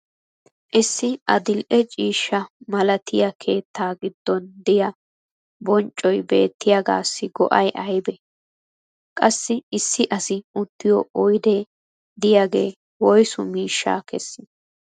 issi adil'e ciishsha malattiya keettaa giddon diya bonccoy beettiyaagaassi go'ay aybee? qassi issi asi uttiyo oydee diyaagee woyssu miishsha kessii?